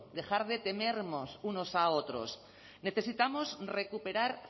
dejar de temernos unos a otros necesitamos recuperar